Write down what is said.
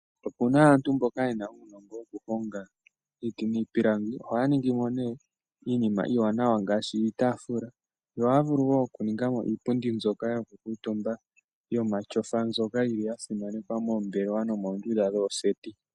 Opena aantu mboka yena uunongo oku honga iiti niipilangi , ohaya ningimo ne iinima iiwanawa ngashi iitafula , ohaya vulu wo oku ningamo iipundi mbyoka yoku kutumba yoma shofa mboka yili ya simanekwa moombelewa nomondundu dhooseti.